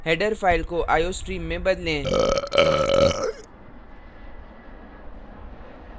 header file को iostream में बदलें